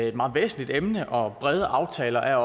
et meget væsentligt emne og brede aftaler er